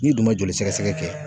N'i dun ma joli sɛgɛsɛgɛ kɛ